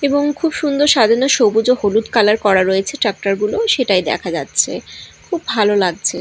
এবং খুব সুন্দর সাজানো সবুজ ও হলুদ কালার করা রয়েছে ট্রাক্টর -গুলো সেটাই দেখা যাচ্ছে খুব ভালো লাগছে।